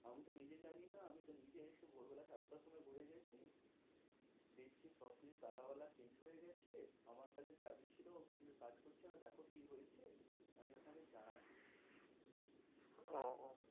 আমি তো নিজে জানি না আমি তো নিজে এসে ভোর বেলা সাতটার সময় ঘুরে গেছি দেখছি সব কিছু তালা বালা change হয়ে গেছে। আমার কাছে চাবি ছিল কিছুই কাজ করছে না দেখো কি হয়েছে আমি আপনাদের জানাচ্ছি। ওহ